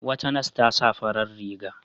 Wata nas ta sa farar riga.